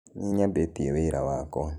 Nĩnyambĩtĩe wĩra wakwa.